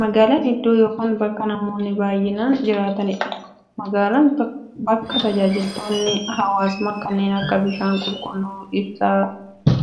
Magaalan iddoo yookiin bakka namoonni baay'inaan jiraataniidha. Magaalan bakka taajajilootni hawwaasummaa kanneen akka; bishaan qulqulluu, ibsaa,